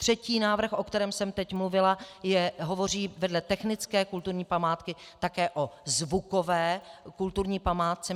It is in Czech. Třetí návrh, o kterém jsem teď mluvila, hovoří vedle technické kulturní památky také o zvukové kulturní památce.